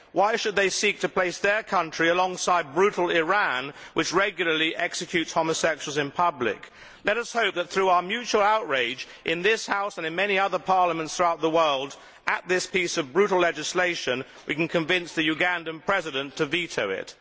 Why should they seek to place their country alongside brutal Iran, which regularly executes homosexuals in public? Let us hope that, through our mutual outrage in this House and in many other parliaments throughout the world at this piece of brutal legislation, we can convince the Ugandan President to veto it.